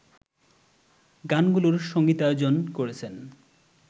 গানগুলোর সংগীতায়োজন করেছেন